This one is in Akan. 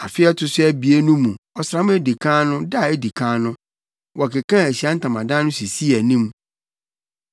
Afe a ɛto so abien no mu ɔsram a edi kan no da a edi kan no, wɔkekaa Ahyiae Ntamadan no sisii anim.